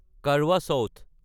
Karwa south